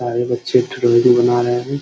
सारे बच्चे ड्रॉइंग बना रहे हैं ।